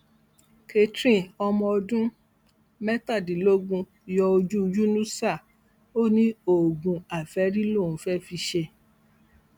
catherine ọmọ ọdún mẹtàdínlógún yọ ojú yunusà ó ní oògùn àfẹ́rí lòún fẹ́ fi ṣe